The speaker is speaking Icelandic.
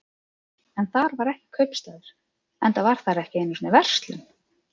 En þar var ekki kaupstaður, enda var þar ekki einu sinni verslun.